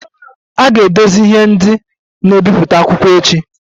A ga-edozi ihe ndị na-ebipụta akwụkwọ echi